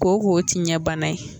Koko ti ɲɛbana ye.